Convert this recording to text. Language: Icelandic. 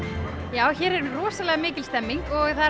já hér er rosalega mikil stemning og